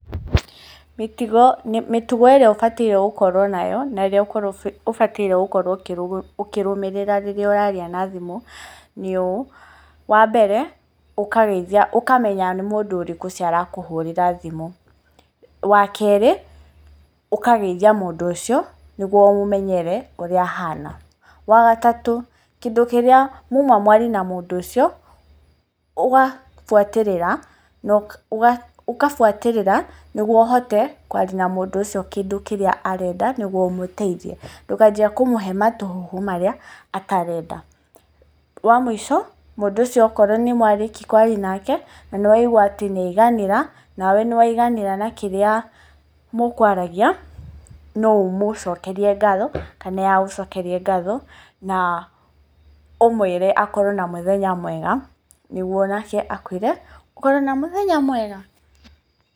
Mĩtugo, mĩtugo ĩrĩa ũbataire gũkorwo nayo, na ĩrĩa ũbataire gũkorwo ũkĩrũmĩrĩra rĩrĩa ũraria na thimũ nĩ ũũ; Wa mbere ũkageithia, ũkamenya nĩ mũndũ ũrĩkũ ũcio ũrakũhũrĩra thimu. Wa keerĩ, ũkageithia mũndũ ũcio nĩgũo ũmũmenyere ũrĩa ahana. Wa gatatũ, kĩndũ kĩrĩa muma mwarie na mũndũ ũcio ũgabwatĩrĩra, na ũkabwatĩrĩra nĩguo ũhote kwaria na mũndũ ũcio kĩndũ kĩrĩa arenda, nĩgũo ũmũteithie ndũkanjie kũmũhe matũhũhũ marĩa atarenda. Wa mũico mũndũ ũcio okorwo nĩmwarĩkia kwaria nake na nĩwaigua atĩ nĩaiganĩra, nawe nĩwaiganĩra na kĩrĩa mũkwaragia, no ũmũcokerie ngatho kana ye agũcokerie ngatho, na ũmwĩre akorwo na mũthenya mwega, nĩguo nake akwĩre ũkorwo na mũthenya mwega.